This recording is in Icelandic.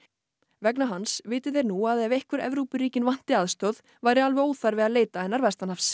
vegna hans viti þeir nú að ef Evrópuríkin vanti aðstoð væri alveg óþarfi að leita hennar vestanhafs